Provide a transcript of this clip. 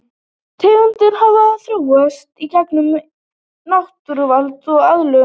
Tegundir hafa svo þróast í gegnum náttúruval og aðlögun.